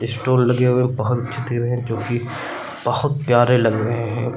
Stone लगे हुए हैं हैं जो कि बहुत प्यारे लग रहे हैं।